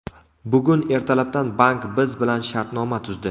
Bugun ertalabdan bank biz bilan shartnoma tuzdi.